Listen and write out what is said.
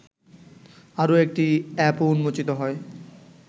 আরও একটি অ্যাপও উন্মোচিত হয়